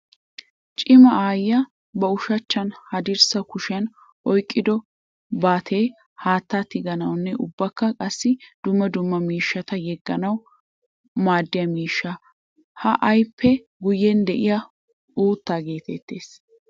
Cima aayiya ba ushachchanne haddirssa kushiyan oyqqiddo baattay haatta tiganawunne ubbakka qassi dumma dumma miishshata yeganawu maadiya miishsha. Ha aayeppe guyen de'iyay uutta geetettees.